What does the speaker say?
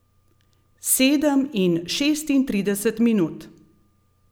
Sedem in šestintrideset minut.